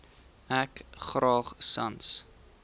ek graag sans